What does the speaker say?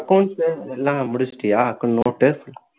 accounts ல எல்லாம் முடிச்சுட்டியா note டு